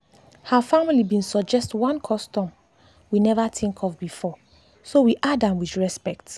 her family been suggest one custom we never think of beforeso we add am with respect.